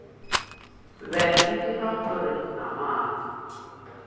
be e dira gore namana